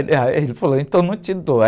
Ele, ah, eh, ele falou, então não te dou.